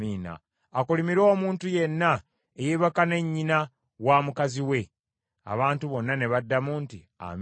“Akolimirwe omuntu yenna eyeebaka ne nnyina wa mukazi we.” Abantu bonna ne baddamu nti, “Amiina.”